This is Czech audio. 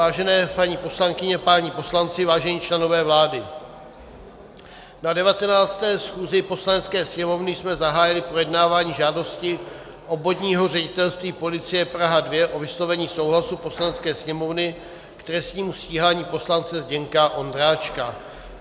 Vážené paní poslankyně, páni poslanci, vážení členové vlády, na 19. schůzi Poslanecké sněmovny jsme zahájili projednávání žádosti Obvodního ředitelství policie Praha 2 o vyslovení souhlasu Poslanecké sněmovny k trestnímu stíhání poslance Zdeňka Ondráčka.